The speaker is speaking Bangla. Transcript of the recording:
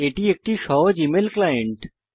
এটি একটি সহজ ইমেইল ক্লায়েন্ট